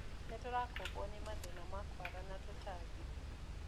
Nĩtũrakũmbwo ni mathĩna ma kwara na tũtambi.